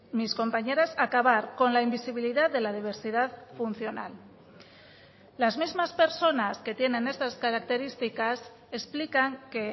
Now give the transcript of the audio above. mis compañeras acabar con la invisibilidad de la diversidad funcional las mismas personas que tienen estas características explican que